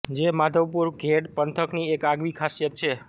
જે માધવપુર ઘેડ પંથકની એક આગવી ખાસિયત છે